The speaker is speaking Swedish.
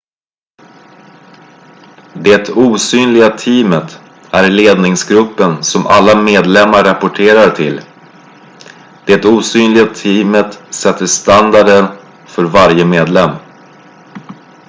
"det "osynliga teamet" är ledningsgruppen som alla medlemmar rapporterar till. det osynliga teamet sätter standarderna för varje medlem.